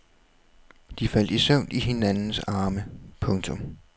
De faldt i søvn i hinandens arme. punktum